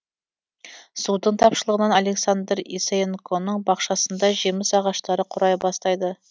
судың тапшылығынан александра исаенконың бақшасындағы жеміс ағаштары қурай бастайды